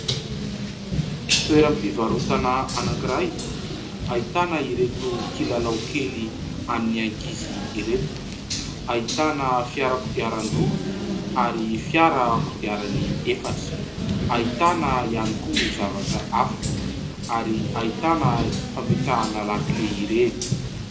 Toeram-pivarotana anankiray ahitana ireto kilalao kely an'ny ankizy ireto : ahitana fiara kodiaran-droa ary fiara kodiaran'ny efatra, ahitana ihany koa zavatra hafa ary ahitana fametrahana lakile ireny.